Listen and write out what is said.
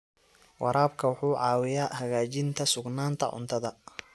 Waraabka wuxuu caawiyaa hagaajinta sugnaanta cuntada.